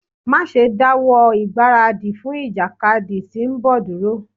Má ṣe dáwọ́ ìgbáradì fún ìjàkadì tí ń bọ̀ dúró.